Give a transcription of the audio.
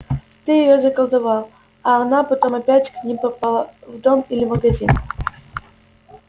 ты её заколдовал а она потом опять к ним попала в дом или магазин